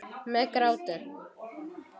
Með gráti.